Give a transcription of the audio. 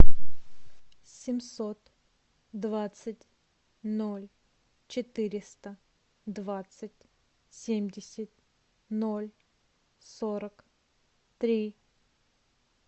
семьсот двадцать ноль четыреста двадцать семьдесят ноль сорок три